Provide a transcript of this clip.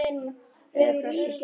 Rauði kross Íslands